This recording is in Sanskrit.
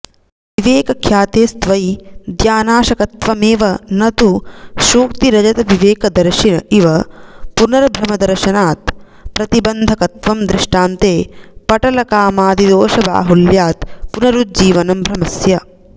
विवेकख्यातेस्त्वविद्यानाशकत्वमेव न तु शुक्तिरजतविवेकदर्शिन इव पुनर्भ्रमदर्शनात् प्रतिबन्धकत्वं दृष्टान्ते पटलकामादिदोषबाहुल्यात् पुनरुज्जीवनं भ्रमस्य